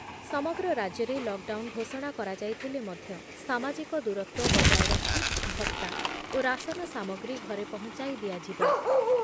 ସମଗ୍ର ରାଜ୍ୟରେ lockdown ଘୋଷଣା କରାଯାଇଥିଲେ ମଧ୍ୟ ସାମାଜିକ ଦୂରତ୍ଵ ବଜାୟ ରଖି ଭତ୍ତା ଓ ରାସନ ସାମଗ୍ରୀ ଘରେ ପହଞ୍ଚାଇ ଦିଆଯିବ ।